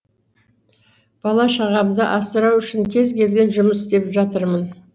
бала шағамды асырау үшін кез келген жұмыс істеп жатырмын